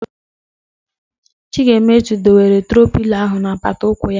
Chigaemezu dowere troo pịlo ahụ n'apata ụkwụ ya